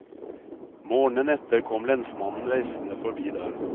Morgenen etter kom lensmannen reisende forbi der.